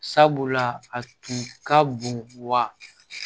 Sabula a tun ka bon wa